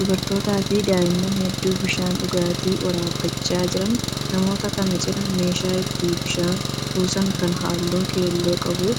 Dubartootaa fi daa'imman hedduu bishaan dhugaatii waraabbachaa jiraniidha. Namoota kana cina meeshaan ittin bishaan kuusaan kan halluu keelloo qabu